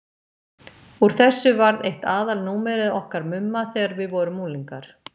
Úr þessu varð eitt aðalnúmerið okkar Mumma þegar við vorum unglingar.